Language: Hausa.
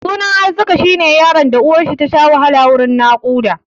Sunan Arzika shi ne yaron da uwarshi tasha wahala wurin naƙuda.